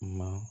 Ma